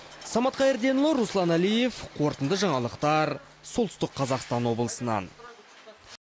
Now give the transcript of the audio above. самат қайырденұлы руслан әлиев қорытынды жаңалықтар солтүстік қазақстан облысынан